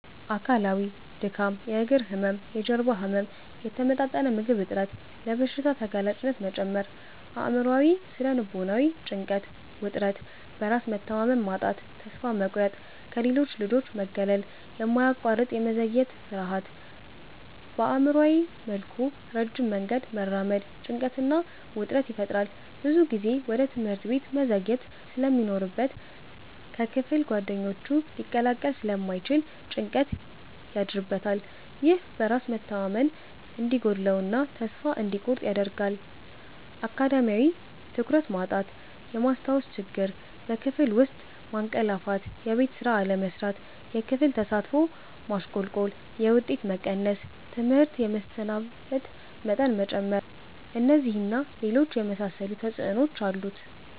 አካላዊ:-ድካም፣ የእግር ህመም፣ የጀርባ ህመም፣ የተመጣጠነ ምግብ እጥረት፣ ለበሽታ ተጋላጭነት መጨመር። አእምሯዊ / ስነ-ልቦናዊ:-ጭንቀት፣ ውጥረት፣ በራስ መተማመን ማጣት፣ ተስፋ መቁረጥ፣ ከሌሎች ልጆች መገለል፣ የማያቋርጥ የመዘግየት ፍርሃት። በአእምሯዊ መልኩ ረጅም መንገድ መራመድ ጭንቀትና ውጥረት ይፈጥራል። ብዙ ጊዜ ወደ ትምህርት ቤት መዘግየት ስለሚኖርበት ከክፍል ጓደኞቹ ሊላቀቅ ስለሚችል ጭንቀት ያድርበታል። ይህ በራስ መተማመን እንዲጎድለው እና ተስፋ እንዲቆርጥ ያደርጋል። አካዳሚያዊ:-ትኩረት ማጣት፣ የማስታወስ ችግር፣ በክፍል ውስጥ ማንቀላፋትየቤት ስራ አለመስራት፣ የክፍል ተሳትፎ ማሽቆልቆል፣ የውጤት መቀነስ፣ ትምህርት የመሰናበት መጠን መጨመር። እነዚህን እና ሌሎች የመሳሰሉ ተጽዕኖዎች አሉት።